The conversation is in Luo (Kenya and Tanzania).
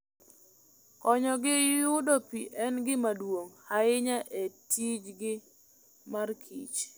Konyogi yudo pi en gima duong' ahinya e tijgi mar kich.